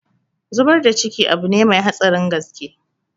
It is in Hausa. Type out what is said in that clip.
Zubar da ciki abune mai hatsarin gaske